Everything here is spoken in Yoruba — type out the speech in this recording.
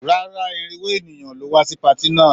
Rárá, irinwó ènìyàn ló wá sí patí náà.